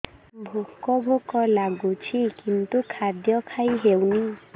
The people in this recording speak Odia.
ଭୋକ ଭୋକ ଲାଗୁଛି କିନ୍ତୁ ଖାଦ୍ୟ ଖାଇ ହେଉନି